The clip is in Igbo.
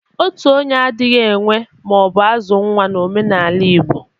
Otu onye adghi enwe ma ọ bụ azụ nwa n'omenaala Igbo.